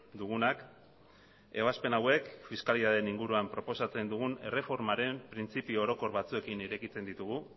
dugunak ebazpen hauek fiskalitatearen inguruan proposatzen dugun erreformaren printzipio orokor batzuekin irekitzen ditugu